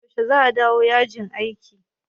Yaushe za a dawo yajin aikin?